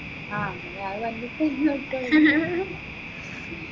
ആ ഇനി ആ വന്നിട്ട് ഇനി നോക്കാ വെച്ച്